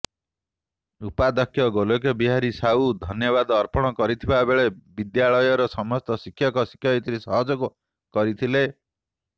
ଉପାଧ୍ୟକ୍ଷ ଗୋଲଖ ବିହାରୀ ସାହୁ ଧନ୍ୟବାଦ ଅର୍ପଣ କରିଥିବାବେଳେ ବିଦ୍ୟାଳୟର ସମସ୍ତ ଶକ୍ଷକ ଶିକ୍ଷୟିତ୍ରୀ ସହଯୋଗ କରିଥିଲେ